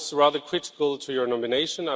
I was rather critical of your nomination.